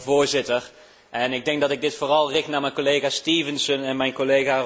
Voorzitter, ik richt mij vooral tot mijn collega's Stevenson en